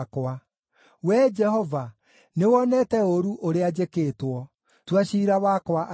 Wee Jehova, nĩwonete ũũru ũrĩa njĩkĩtwo. Tua ciira wakwa arĩ we!